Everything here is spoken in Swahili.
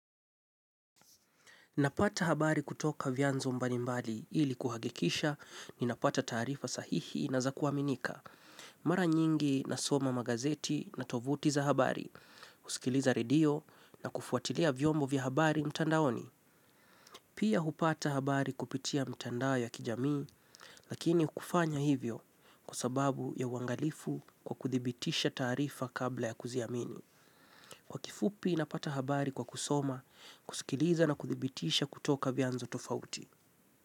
Napata habari kutoka vyanzo mbali mbali ili kuhakikisha napata taarifa sahihi na za kuaminika. Mara nyingi nasoma magazeti na tovuti za habari, kusikiliza radio na kufuatilia vyombo vya habari mtandaoni. Pia hupata habari kupitia mtandao ya kijamii lakini kufanya hivyo kwa sababu ya uangalifu kwa kuthibitisha taarifa kabla ya kuziamini. Kwa kifupi napata habari kwa kusoma, kusikiliza na kuthibitisha kutoka vyanzo tofauti.